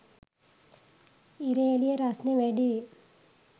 ඉර එළිය රස්නෙ වැඩියි